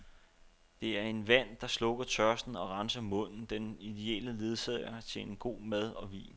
Det er en vand, der slukker tørsten og renser munden, den idelle ledsager til god mad og vin.